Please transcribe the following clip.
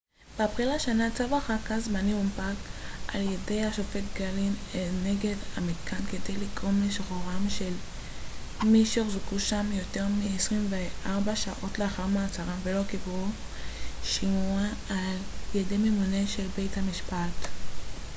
באפריל השנה צו הרחקה זמני הונפק על-ידי השופט גלין נגד המתקן כדי לגרום לשחרורם של מי שהוחזקו שם יותר מ-24 שעות לאחר מעצרם ולא קיבלו שימוע על ידי ממונה של בית-משפט